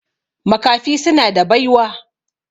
Makafi suna da baiwa.